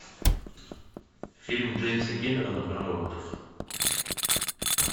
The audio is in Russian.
фильм джеймса кэмерона про роботов